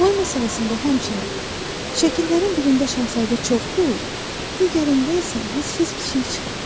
Boy məsələsində həmçinin, şəkillərimin birində Şahzadə çox böyük, digərində isə hədsiz kiçik çıxır.